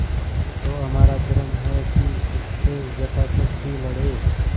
तो हमारा धर्म है कि उससे यथाशक्ति लड़ें